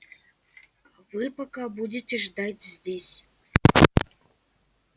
вы пока будете ждать здесь